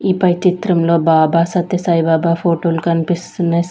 ఈ పై చిత్రమ్ లో బాబా సత్య సాయి బాబా ఫోటో లు కనిపిస్తున్నాయ్.